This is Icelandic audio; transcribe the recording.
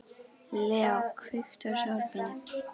Leo, kveiktu á sjónvarpinu.